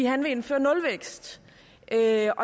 han vil indføre nulvækst der